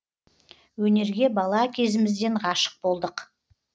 өнерге бала кезімізден ғашық болдық